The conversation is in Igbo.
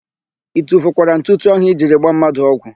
I tufukwara ntụtụ áhụ̀ i jiri gbaa mmadụ ọgwụ?